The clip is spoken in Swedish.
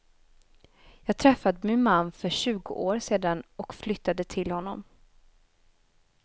Jag träffade min man för tjugo år sedan och flyttade till honom.